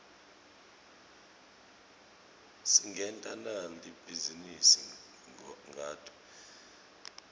singenta nali bhizinisi ngato